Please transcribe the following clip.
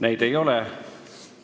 Neid ei ole.